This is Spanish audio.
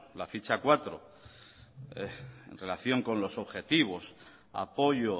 la ficha cuatro en relación con los objetivos apoyo